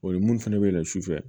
O ye minnu fana bɛ yɛlɛn su fɛ